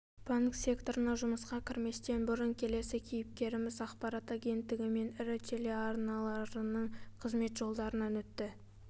банк секторына жұмысқа кірместен бұрын келесі кейіпкеріміз аақпарат агенттігі мен ірі телеарнаның қызмет жолдарынан өтті